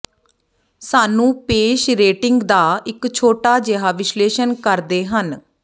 ਸਾਨੂੰ ਪੇਸ਼ ਰੇਟਿੰਗ ਦਾ ਇੱਕ ਛੋਟਾ ਜਿਹਾ ਵਿਸ਼ਲੇਸ਼ਣ ਕਰਦੇ ਹਨ